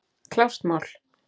Klárt mál.